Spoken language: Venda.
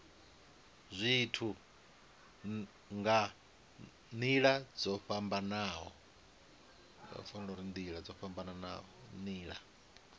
zwithu nga nila dzo fhambanaho